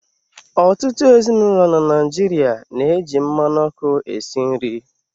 Ọtụtụ ezinụlọ na Naịjirịa na-eji mmanụ ọkụ esi nri.